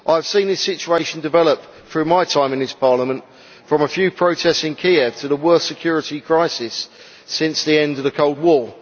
I have seen this situation develop, during my time in this Parliament, from a few protests in Kiev to the worst security crisis since the end of the Cold War.